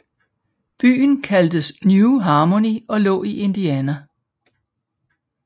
Byen kaldtes New Harmony og lå i Indiana